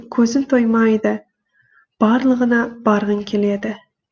көзің тоймайды барлығына барғың келеді